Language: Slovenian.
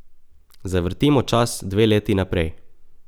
Zavrtimo čas dve leti naprej.